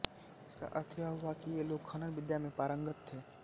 इसका अर्थ यह हुआ कि ये लोग खनन विद्या में पारंगत थे